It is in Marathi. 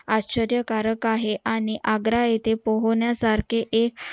आश्चर्यकारक आहे आणि आग्रा येथे पोहण्या सारखे एक